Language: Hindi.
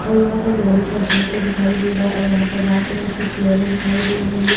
और यहाँ पर लोहे का गेट है दिखाई दे रहा है और यहाँ पर लाल कलर की चेयरे दिखाई दे रही हैं।